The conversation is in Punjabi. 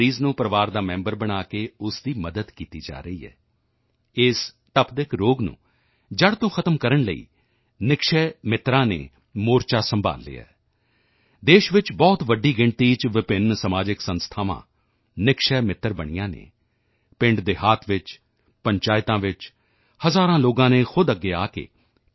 ਦੇ ਮਰੀਜ਼ ਨੂੰ ਪਰਿਵਾਰ ਦਾ ਮੈਂਬਰ ਬਣਾ ਕੇ ਉਸ ਦੀ ਮਦਦ ਕੀਤੀ ਜਾ ਰਹੀ ਹੈ ਇਸ ਤਪਦਿਕ ਰੋਗ ਨੂੰ ਜੜ੍ਹ ਤੋਂ ਖ਼ਤਮ ਕਰਨ ਲਈ ਨਿਕਸ਼ੈ ਮਿੱਤਰਾਂ ਨਿਕਸ਼ੇ ਮਿਤਰਾਸ ਨੇ ਮੋਰਚਾ ਸੰਭਾਲ਼ ਲਿਆ ਹੈ ਦੇਸ਼ ਵਿੱਚ ਬਹੁਤ ਵੱਡੀ ਗਿਣਤੀ ਚ ਵਿਭਿੰਨ ਸਮਾਜਿਕ ਸੰਸਥਾਵਾਂ ਨਿਕਸ਼ੈ ਮਿੱਤਰ ਨਿਕਸ਼ੇ ਮਿਤਰਾ ਬਣੀਆਂ ਹਨ ਪਿੰਡਦੇਹਾਤ ਵਿੱਚ ਪੰਚਾਇਤਾਂ ਵਿੱਚ ਹਜ਼ਾਰਾਂ ਲੋਕਾਂ ਨੇ ਖੁਦ ਅੱਗੇ ਆ ਕੇ ਟੀ